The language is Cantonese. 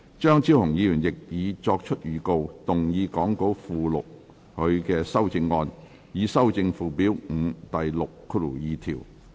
張超雄議員亦已作出預告，動議講稿附錄他的修正案，以修正附表5第62條。